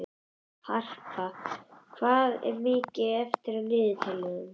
Harpa, hvað er mikið eftir af niðurteljaranum?